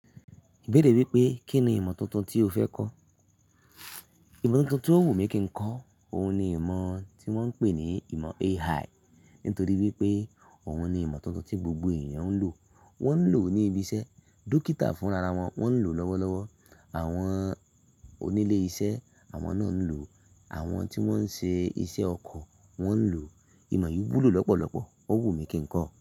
Ibeere wípé Kí ni ìmọ̀ tuntun tí o fẹ́ kọ́? Ìmọ̀ tuntun tí ó wù mí kí ń kọ, òun ni ìmọ̀ tí wón ń pè ní ìmọ̀ AI. Nítorí wípé òun ni ìmọ̀ tuntun tí gbogbo èyan ń lò, wón ń lò ní ibi iṣẹ́, dókítà fúnrararẹ wọn ń lò lọ́wọ́lọ́wọ́, àwọn onílé iṣẹ́ àwọn náà ń lò, àwọn tí wón ń ṣe iṣẹ́ ọkọ̀ wón ń lò. Ìmọ̀ yìí wúlò lọ́pọ̀lọpọ̀, ó wù mí kí ń kọ ọ́